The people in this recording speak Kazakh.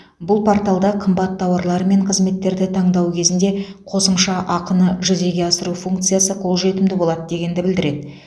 бұл порталда қымбат тауарлар мен қызметтерді таңдау кезінде қосымша ақыны жүзеге асыру функциясы қолжетімді болады дегенді білдіреді